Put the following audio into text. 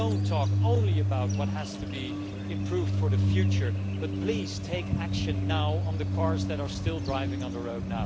Do not talk only about what has to be improved for the future, but please, take action now on the cars that are still being driven on the road.